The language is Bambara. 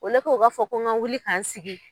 Ole k'o o ka fɔ ko kan wuli k'an sigi.